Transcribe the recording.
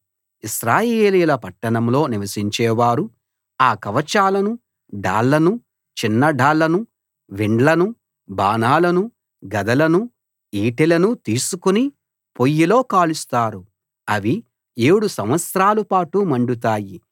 ఇశ్రాయేలీయుల పట్టణాల్లో నివసించేవారు ఆ కవచాలనూ డాళ్లనూ చిన్న డాళ్లనూ విండ్లనూ బాణాలనూ గదలనూ ఈటెలనూ తీసుకుని పొయ్యిలో కాలుస్తారు అవి ఏడు సంవత్సరాలపాటు మండుతాయి